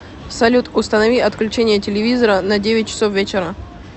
салют установи отключение телевизора на девять часов вечера